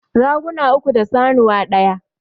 Raguna uku da sanuwa ɗaya